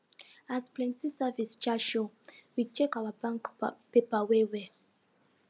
as plenty service charge show we check our bank paper well well